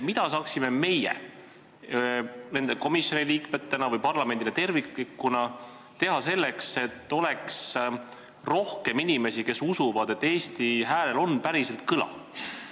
Mida saaksime meie nende komisjonide liikmetena või parlamendina tervikuna teha selleks, et oleks rohkem inimesi, kes usuvad, et Eesti hääl päriselt kostaks?